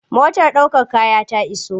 Motar ɗaukar kaya ta iso.